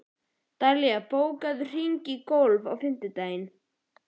Dallilja, bókaðu hring í golf á fimmtudaginn.